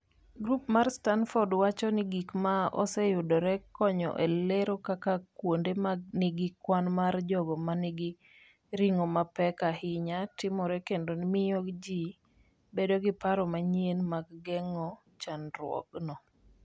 Grup mar Stamford wacho ni gik ma oseyudore konyo e lero kaka kuonde ma nigi kwan mar jogo ma nigi ring’o mapek ahinya timore kendo miyo ji bedo gi paro manyien mag geng’o chandruogno.